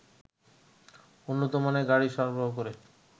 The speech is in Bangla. উন্নতমানের গাড়ি সরবরাহ করে